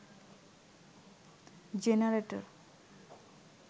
generator